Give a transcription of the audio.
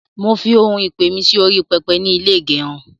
mọ fí òún ìpè mí Si orí pẹpẹ nì ilé igerun